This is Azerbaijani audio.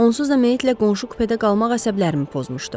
Onsuz da meyitlə qonşu kupedə qalmaq əsəblərimi pozmuşdu.